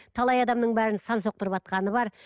талай адамның бәрін сан соқтырыватқаны бар